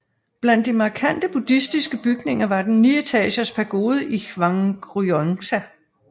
Blandt de markantebuddhistiske bygninger var den nietagers pagode i Hwangryongsa